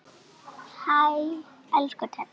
Elsku Teddi.